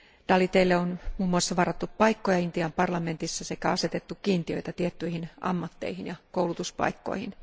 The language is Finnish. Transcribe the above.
Daliteille on muun muassa varattu paikkoja Intian parlamentissa sekä asetettu kiintiöitä tiettyihin ammatteihin ja koulutuspaikkoihin.